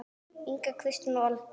Inga, Kristín og Olga.